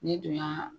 Ni dun y'a